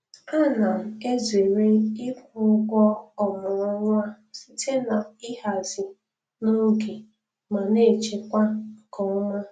A na m ezere ịkwụ ụgwọ ọmụrụ nwa site n'ihazi n'oge ma na-echekwa nke ọma